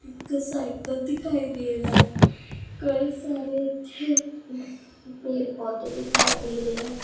ਇਕ ਸਾਈਕਲ ਦਿਖਾਈ ਦੇ ਰਿਹਾ ਕਈ ਸਾਰੇ ਇੱਥੇ ਪੇੜ ਪੌਦੇ ਦਿਖਾਈ ਦੇ ਰਹੇ ਹਨ।